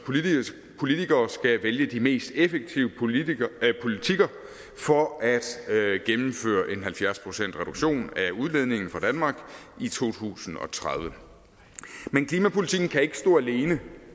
politikere skal vælge de mest effektive politikker politikker for at gennemføre en halvfjerds procentsreduktion af udledningen fra danmark i to tusind og tredive men klimapolitikken kan ikke stå alene